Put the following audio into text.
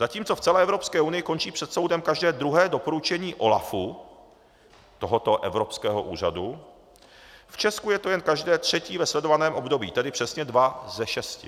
Zatímco v celé Evropské unii končí před soudem každé druhé doporučení OLAFu, tohoto evropského úřadu, v Česku je to jen každé třetí ve sledovaném období, tedy přesně dva ze šesti.